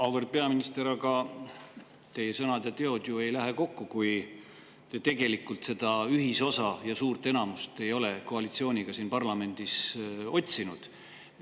Auväärt peaminister, aga teie sõnad ja teod ei lähe ju kokku, kui te tegelikult ei ole seda ühisosa koalitsiooniga ja suurt enamust siin parlamendis otsinud.